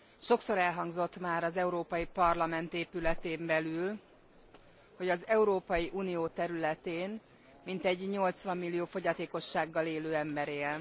Sokszor elhangzott már az Európai Parlament épületén belül, hogy az Európai Unió területén mintegy 80 millió fogyatékossággal élő ember él.